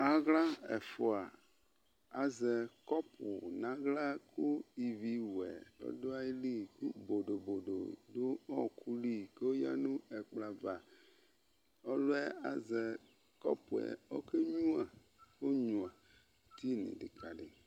Awla ɛfua azɛ kɔpu ku ivi wuɛ du ayili ku bodo bodo du ɔwɔkuli kɔya nɛkplɔ ava' Ɔluyɛ azɛ kɔpu kɔkenyua eti nidikadi